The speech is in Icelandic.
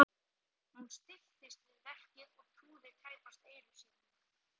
Hún stilltist við verkið og trúði tæpast eyrum sínum.